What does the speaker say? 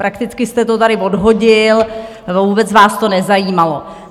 Prakticky jste to tady odhodil, vůbec vás to nezajímalo.